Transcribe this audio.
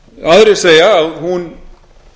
aðrir segja að hún